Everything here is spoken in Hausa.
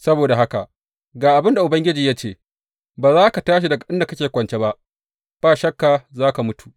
Saboda haka, ga abin da Ubangiji ya ce, Ba za ka tashi daga inda kake kwance ba, ba shakka za ka mutu!’